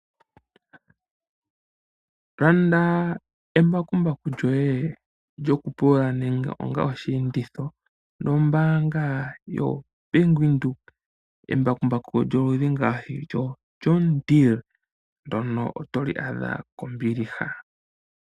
Landa embakumbaku lyoye lyokupulula nenge nenge onga oshienditho nombaanga ndjoka yo Bank Windhoek embakumbaku lyoludhi ngaashi lyo John Deere otoli adha kombiliha lela.